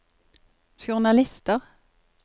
journalister